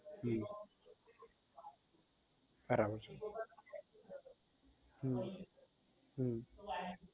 હમ બરાબર છે હમ હમ